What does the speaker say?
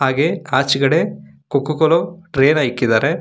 ಹಾಗೆ ಕಾಚೆಕಡೆ ಕೋಕೋ ಕೋಲೋ ಟ್ರೇ ನ ಇಕ್ಕಿದಾರೆ.